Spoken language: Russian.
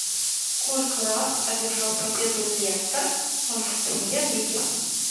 сколько раз одержал победу лестер в премьер лиге